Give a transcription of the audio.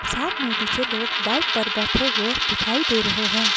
साथ में पीछे लोग बाइक पर बैठे हुए दिखाई दे रहे हैं।